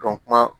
kuma